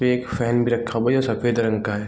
एक फैन भी रखा हुआ है जो सफेद रंग का है।